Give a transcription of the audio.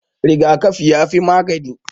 Rigakafi yafi magani.